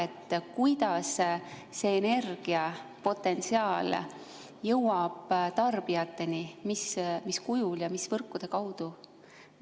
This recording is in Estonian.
Kui tulevikku vaadata, siis kuidas see potentsiaalne energia jõuab tarbijateni – mis kujul ja mis võrkude kaudu?